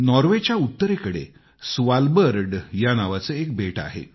नॉर्वेच्या उत्तरेकडे स्वालबर्ड नावाचे एक व्दीप आहे